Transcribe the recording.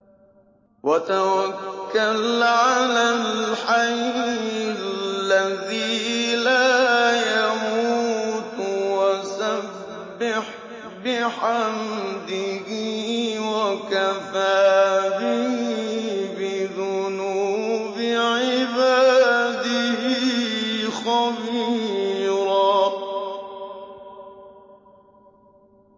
وَتَوَكَّلْ عَلَى الْحَيِّ الَّذِي لَا يَمُوتُ وَسَبِّحْ بِحَمْدِهِ ۚ وَكَفَىٰ بِهِ بِذُنُوبِ عِبَادِهِ خَبِيرًا